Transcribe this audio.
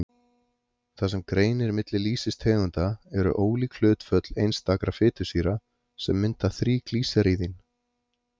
Það sem greinir milli lýsistegunda eru ólík hlutföll einstakra fitusýra, sem mynda þríglýseríðin.